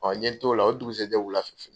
n ye t'o la dugusɛ jɛ wula fɛ.